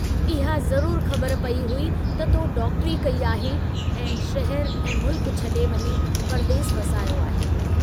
इहा ज़रूर ख़बर पेई हुई त तो डॉक्टरी कई आहे ऐं शहर ऐं मुल्क छड़े वञी परदेस वसायो आहे।